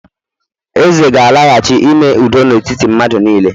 eze gālaghachi, ime udo na etiti madu nile